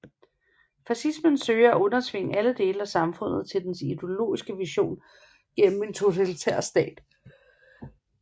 Fascismen søger at undertvinge alle dele af samfundet til dens ideologiske vision gennem en totalitær stat